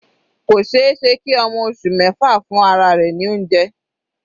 Kò ṣeéṣe kí ọmọ oṣù mẹfa fún ara rẹ̀ ní oúnjẹ.